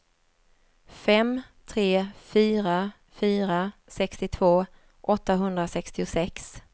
fem tre fyra fyra sextiotvå åttahundrasextiosex